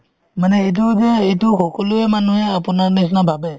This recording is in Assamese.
মানে এইটো যে এইটো সকলোয়ে মানুহে আপোনাৰ নিচিনা ভাবে